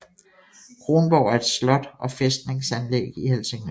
Kronborg er et slot og fæstningsanlæg i Helsingør